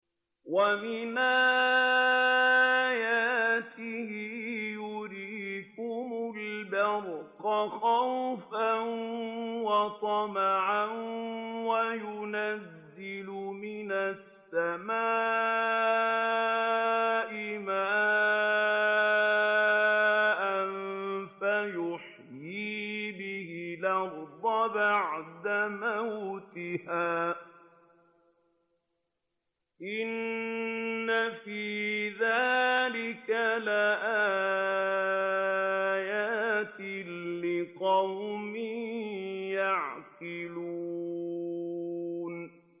وَمِنْ آيَاتِهِ يُرِيكُمُ الْبَرْقَ خَوْفًا وَطَمَعًا وَيُنَزِّلُ مِنَ السَّمَاءِ مَاءً فَيُحْيِي بِهِ الْأَرْضَ بَعْدَ مَوْتِهَا ۚ إِنَّ فِي ذَٰلِكَ لَآيَاتٍ لِّقَوْمٍ يَعْقِلُونَ